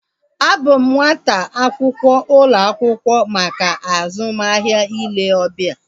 A bụ m nwata akwụkwọ ụlọ akwụkwọ maka azụmahịa ile obia